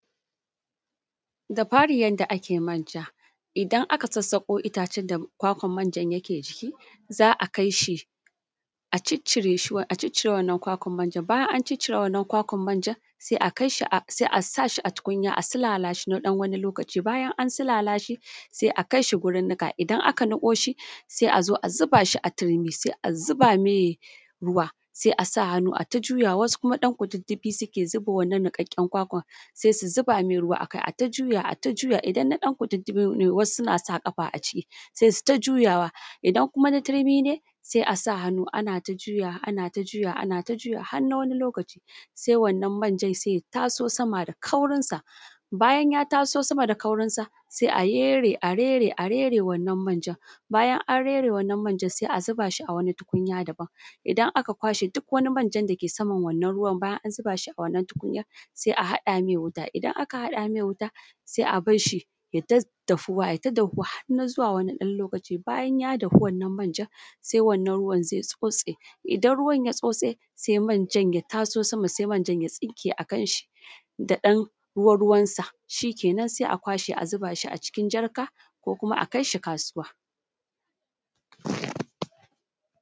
Da fari, yanda ake manja Idan aka zazzaɓo itacen ƙwaƙwan da ake manjan da shi, za a kai shi a cicicire wannan ƙwaƙwan manjan. Bayan an cicicire wannan ƙwaƙwan manjan, sai a kai shi, sai a sa shi a tukunya, a silala shi na ɗan wani lokaci. Bayan an silala shi, sai a kai shi gurin niƙa, idan aka niƙo shi, sai a zuba shi a turmi, sai a zuba mai ruwa, sai a sa hannu ai ta juyawa. Wasu kuma ɗan kududdufi suke zuba wannan niƙaƙƙen ƙwaƙwan, sai su sa hannu, ana ta juyawa, ana ta juyawa, har na wani loƙaci. Sai wannan manjan ya taso sama da ƙaurinsa. Bayan ya taso sama da ƙaurinsa, sai a yere a yere wannan manjan. Bayan an yere wannan manjan, sai a zuba shi a wani tukunya daban. Idan aka ƙwashe duk wani manjan dake saman wannan ruwan, bayan an zuba shi a wannan tukunyan, sai a haɗa mai wuta. Idan aka haɗa mai wuta, sai a bar shi yai ta dafuwa, yai ta dafuwa har na zuwa wani ɗan lokaci. Bayan ya dahu wannan manjan, sai wannan ruwan zai tsotse. Idan ruwan ya tsotse, sai manjan ya taso sama, sai manjan ya tsinke da kansa da ɗan ruwa-ruwansa. Shi kenan, sai a ƙwashe, a zuba shi a cikin jarka, ko kuma a kai shi kasuwa.